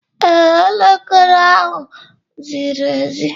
Ee, Elekere ahụ ziri ezi